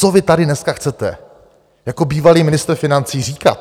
Co vy tady dneska chcete jako bývalý ministr financí říkat?